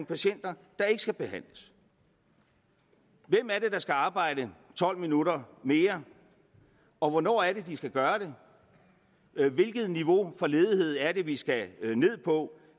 patienter der ikke skal behandles hvem er det der skal arbejde tolv minutter mere og hvornår er det de skal gøre det hvilket niveau for ledighed er det vi skal ned på